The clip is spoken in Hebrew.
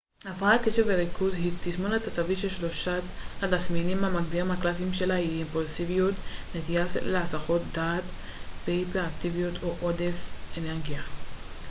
הפרעת קשב וריכוז היא תסמונת עצבית ששלושת התסמינים המגדירים הקלאסיים שלה הם אימפולסיביות נטייה להסחות דעת והיפראקטיביות או עודף אנרגיה